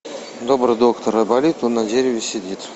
добрый доктор айболит он на дереве сидит